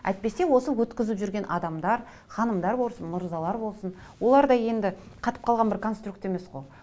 әйтпесе осы өткізіп жүрген адамдар ханымдар болсын мырзалар болсын олар да енді қатып қалған бір конструкт емес қой